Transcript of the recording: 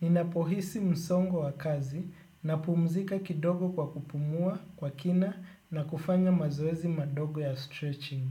Ninapohisi msongo wa kazi napumzika kidogo kwa kupumua kwa kina na kufanya mazoezi madogo ya stretching.